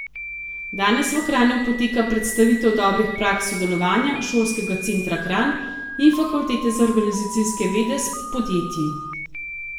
Danes v Kranju poteka predstavitev dobrih praks sodelovanja Šolskega centra Kranj in Fakultete za organizacijske vede s podjetji.